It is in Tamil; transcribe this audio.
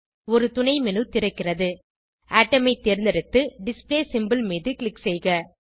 ஒரு துணைmenu திறக்கிறது அட்டோம் ஐ தேர்ந்தெடுத்து டிஸ்ப்ளே சிம்போல் மீது க்ளிக் செய்க